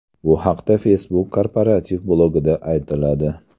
Bu haqda Facebook korporativ blogida aytiladi .